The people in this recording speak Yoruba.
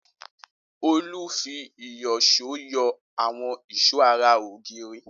Olú fi iìsyọ̀ṣó yọ àwọn ìṣó ara ògiri.